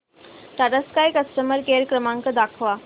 Tata sky customer care क्रमांक दाखवा